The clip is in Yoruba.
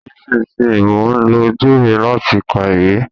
Nísinsìnyí, mò ń lo ojú mi láti ka ìwé